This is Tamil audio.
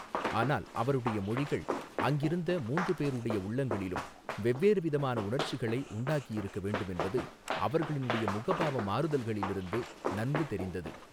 ஆனால் அவருடைய மொழிகள் அங்கிருந்த மூன்று பேருடைய உள்ளங்களிலும் வெவ்வேறு விதமான உணர்ச்சிகளை உண்டாக்கியிருக்கவேண்டுமென்பது அவர்களுடைய முகபாவ மாறுதல்களிலிருந்து நன்கு தெரிந்தது.